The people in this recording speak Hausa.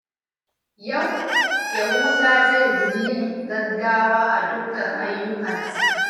Yau, Yahuza zai guji yin gaggawa a dukkan ayyukansa.